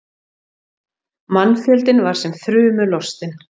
Mannfjöldinn var sem þrumu lostinn.